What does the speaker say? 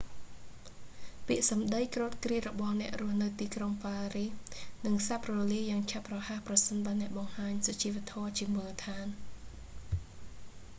ពាក្យសម្តីគ្រោតគ្រាតរបស់អ្នករស់នៅទីក្រុងប៉ារីសនឹងសាបរលាបយ៉ាងឆាប់រហ័សប្រសិនបើអ្នកបង្ហាញសុជីវធម៌ជាមូលដ្ឋាន